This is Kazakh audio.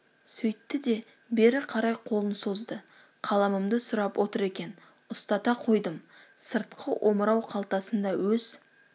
сөйтті де бері қарай қолын созды қаламымды сұрап отыр екен ұстата қойдым сыртқы омырау қалтасында өз